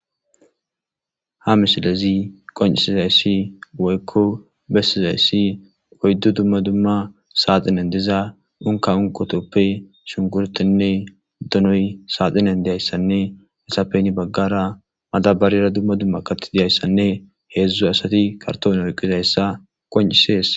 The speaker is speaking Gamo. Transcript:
ha misilezi qoncisizayssi woykko bessizayssi oyddu dumma dumma saaxinen diza unka unqotoppe shunkurtenne donoy saaxinen diyayssanne nesapeni baggara madabarira dumma dumma katti diyayssanne heedzdzu asati kartoon oyqqizayssa qoncisees